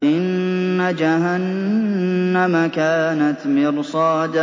إِنَّ جَهَنَّمَ كَانَتْ مِرْصَادًا